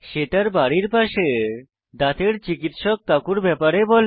সে তার বাড়ির পাশের দাঁতের চিকিৎসক কাকুর ব্যাপারে বলে